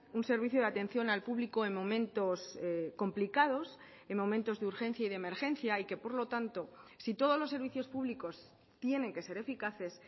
un servicio de atención al público en momentos complicados en momentos de urgencia y de emergencia y que por lo tanto si todos los servicios públicos tienen que ser eficaces